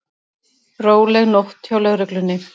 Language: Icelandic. Róleg nótt hjá lögreglunni